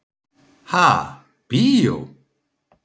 Ha, bíó?